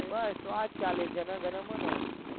બસ તો આજ છે જન ગન મન